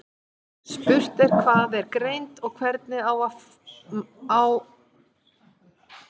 Spurt er hvað er greind og hvernig og á hvaða mælikvarða hún sé mæld.